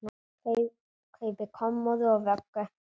Kaupi kommóðu og vöggu.